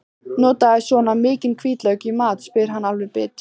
Notarðu svona mikinn hvítlauk í mat, spyr hann alveg bit.